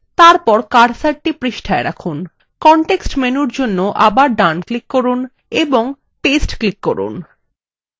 তারপর কার্সারটি পৃষ্ঠায় রাখুন context menu জন্য আবার then click করুন এবং paste click করুন